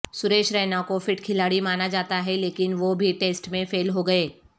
سریش رینا کو فٹ کھلاڑی مانا جاتا ہے لیکن وہ بھی ٹیسٹ میں فیل ہوگئے